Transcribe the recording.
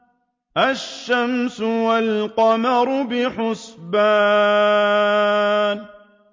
الشَّمْسُ وَالْقَمَرُ بِحُسْبَانٍ